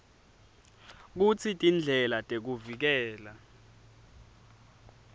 kutsi tindlela tekuvikela